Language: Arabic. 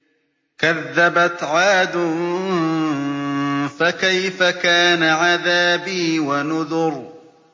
كَذَّبَتْ عَادٌ فَكَيْفَ كَانَ عَذَابِي وَنُذُرِ